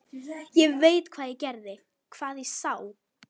Ég veit hvað ég gerði, hvað ég sá.